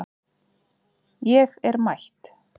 Ég er mætt